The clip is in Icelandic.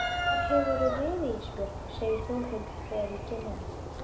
Hvar hefurðu verið Ísbjörg, segir Þórhildur þegar ég kem inn.